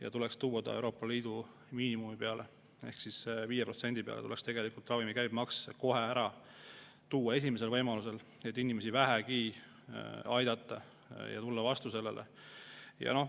See tuleks tuua Euroopa Liidu miinimumi peale: 5% protsendi peale tuleks ravimite käibemaks langetada esimesel võimalusel, et inimesi vähegi aidata ja neile vastu tulla.